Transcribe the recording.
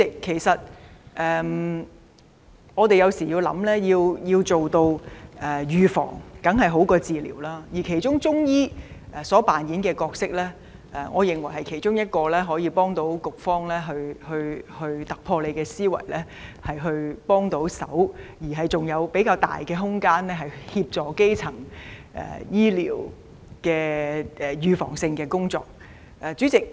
主席，我們也知道預防當然勝於治療，而其中一個可行方案是加強中醫扮演的角色。我認為這不但能有助局方突破思維，提供協助，並且有較大空間協助進行基層醫療的預防性工作。